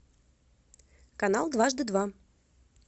канал дважды два